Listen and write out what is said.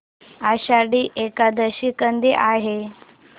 आषाढी एकादशी कधी आहे